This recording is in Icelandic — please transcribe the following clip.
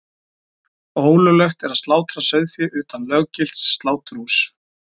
Ólöglegt er að slátra sauðfé utan löggilts sláturhúss.